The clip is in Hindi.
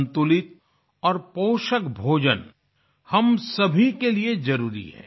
संतुलित और पोषक भोजन हम सभी के लिए जरुरी है